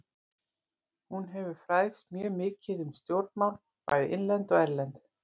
Hún hefur fræðst mjög mikið um stjórnmál, bæði innlend og erlend.